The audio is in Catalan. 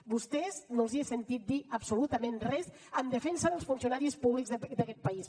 a vostès no els he sentit dir absolutament res en defensa dels funcionaris públics d’aquest país